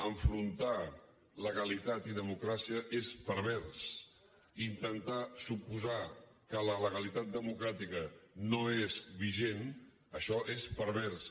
enfrontar legalitat i democràcia és pervers i intentar suposar que la legalitat democràtica no és vigent això és pervers